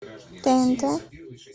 тнт